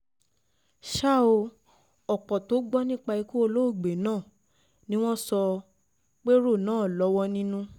ṣá o ọ̀pọ̀ tó gbọ́ nípa ikú olóògbé náà ni wọ́n sọ péèrò náà lọ́wọ́ nínú